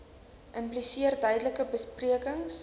impliseer duidelike beperkings